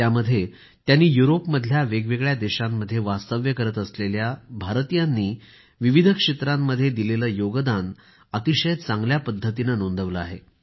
त्यामध्ये त्यांनी युरोपमधल्या वेगवेगळ्या देशांमध्ये वास्तव्य करत असलेल्या भारतीयांनी विविध क्षेत्रांमध्ये दिलेले योगदान अतिशय चांगल्या पद्धतीने नोंदवले आहे